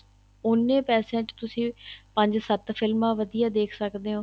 ਉਹਨੇ ਪੈਸਿਆਂ ਚ ਤੁਸੀਂ ਪੰਜ ਸੱਤ ਫਿਲਮਾਂ ਵਧੀਆ ਦੇਖ ਸਕਦੇ ਹੋ